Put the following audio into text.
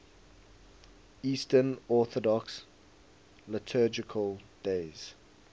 eastern orthodox liturgical days